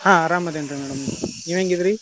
ಹಾ ಆರಾಮದೇನ್ರೀ madam , ನೀವ್ ಹೆಂಗ ಇದಿರೀ?